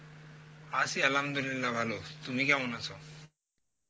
আছি আলহামদুলিল্লাহ ভালো, তুমি কেমন আছো?